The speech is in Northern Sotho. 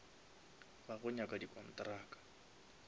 ba go nyaka di kontraka